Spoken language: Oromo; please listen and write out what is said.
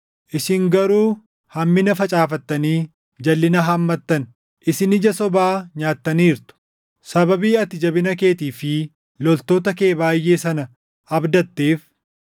Isin garuu hammina facaafattanii jalʼina haammattan; isin ija sobaa nyaattaniirtu. Sababii ati jabina keetii fi loltoota kee baayʼee sana abdatteef,